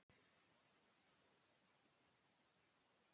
Undir haust átti að vígja brúna.